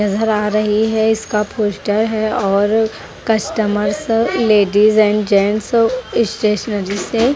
इधर आ रही है इसका फोस्टर है और customers ladies and gents stationery से--